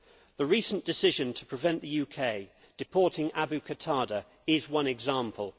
The recent decision to prevent the UK deporting Abu Qatada is one example.